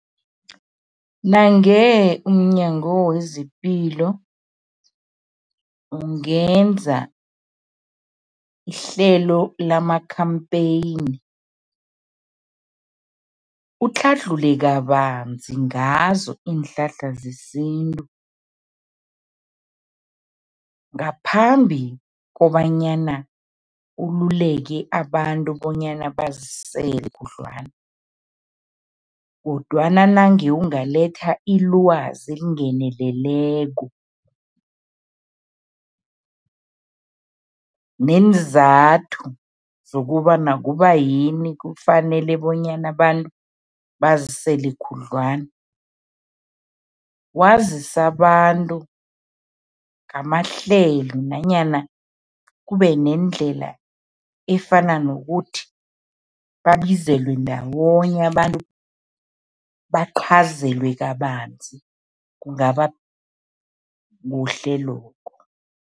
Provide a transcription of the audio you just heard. Nange umNyango wezePilo ungenza ihlelo lama-campaign, utlhadlhule kabanzi ngazo iinhlahla zesintu ngaphambi kobanyana ululeke abantu bonyana bazisele khudlwana kodwana nange ungaletha ilwazi elingeneleleko, neenzathu zokobana kubayini kufanele bonyana abantu bazisele khudlwana. Wazise abantu ngamahlelo nanyana kube nendlela efana nokuthi babizelwe ndawonye abantu, baqhazelwe kabanzi, kungaba kuhle lokho.